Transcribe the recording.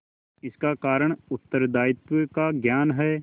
इसका कारण उत्तरदायित्व का ज्ञान है